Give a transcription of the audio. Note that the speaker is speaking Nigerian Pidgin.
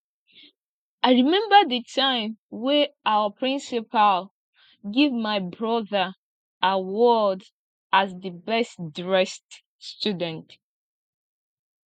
i remember the time wen our principal give my broda award as the best dressed student